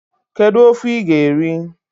Kedu ofe ị ga-eri?